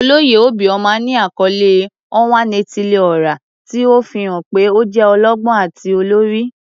Oloye obioma ni akọle "Onwa-na-etili-ora," ti o fihan pe o jẹ ọlọgbọn ati olori.